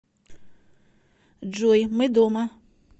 джой мы дома